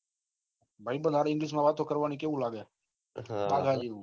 ભાઈબંઘ સાથે English માં વાત કરવા નું કેવું લાગે આ બાજુ